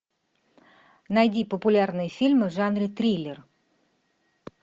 найди популярные фильмы в жанре триллер